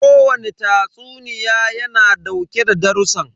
Ko wane tatsuniya ya na dauke da darussan.